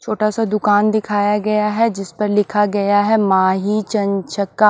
छोटा सा दुकान दिखाया गया है जिस पर लिखा गया है माही चंचका।